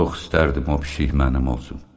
Çox istərdim o pişik mənim olsun.